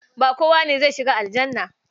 Ba kowa ne zai shiga aljannah.